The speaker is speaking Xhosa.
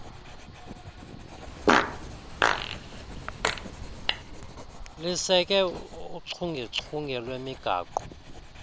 liseke uchungechunge lwemigaqo